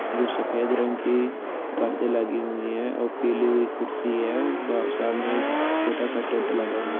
जो सफेद रंग की परदे लगे हुए है और पिली हुई कुर्सी है और सामने एक छोटा सा टेंट लगा हुआ--